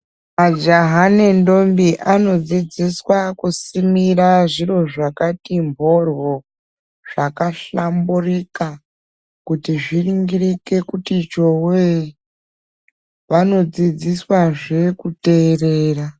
Majaha nendombi anodzidziswa kusimirwa zviro zvakati mborwo, zvakahlamburika kuita kuti zviringirike kuti chowee, wanodzidziswa zvee kuteerera.